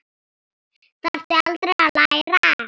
Þarftu aldrei að læra?